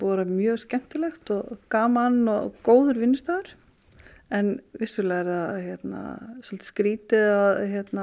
vera mjög skemmtilegt og gaman og góður vinnustaður en vissulega er það svolítið skrítið að